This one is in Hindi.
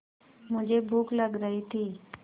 मुझे भूख लग रही थी